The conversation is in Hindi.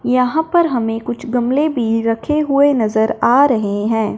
यहां पर हमें कुछ गमले भी रखे हुए नजर आ रहे हैं।